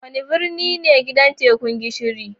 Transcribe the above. Wane birni ne gidan Tekun Gishiri?